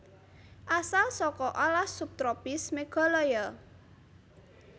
Asal saka alas subtropis Meghalya